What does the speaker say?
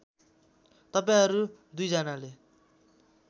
तपाईँहरू २ जनाले